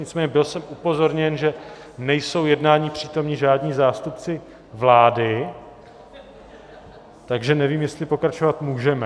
Nicméně byl jsem upozorněn, že nejsou jednání přítomni žádní zástupci vlády, takže nevím, jestli pokračovat můžeme.